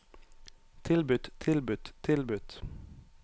tilbudt tilbudt tilbudt